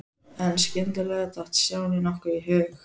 En skyndilega datt Stjána nokkuð í hug.